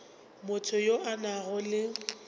motho yo a nago le